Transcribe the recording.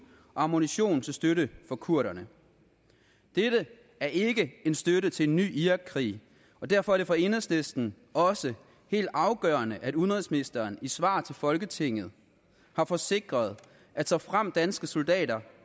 og ammunition til støtte for kurderne dette er ikke en støtte til en ny irakkrig og derfor er det for enhedslisten også helt afgørende at udenrigsministeren i svar til folketinget har forsikret at såfremt danske soldater